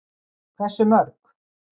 Hversu mörg?